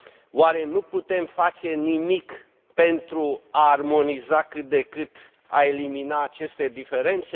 Oare nu putem face nimic pentru a armoniza cât de cât, pentru a elimina aceste diferențe?